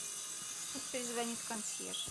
пусть перезвонит консьерж